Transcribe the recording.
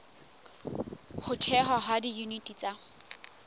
ho thehwa ha diyuniti tsa